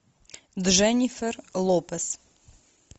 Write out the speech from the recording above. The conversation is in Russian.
дженнифер лопес